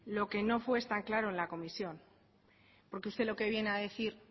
lo que no fue es tan claro en la comisión porque usted lo que viene a decir